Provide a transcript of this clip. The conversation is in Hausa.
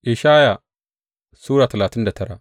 Ishaya Sura talatin da tara